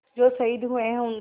जो शहीद हुए हैं उनकी